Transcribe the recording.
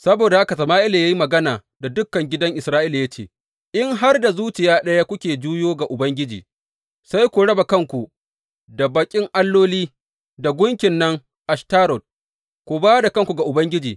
Saboda haka Sama’ila ya yi magana da dukan gidan Isra’ila ya ce, in har da zuciya ɗaya kuke juyowa ga Ubangiji sai ku raba kanku da baƙin alloli da gunkin nan Ashtarot, ku ba da kanku ga Ubangiji.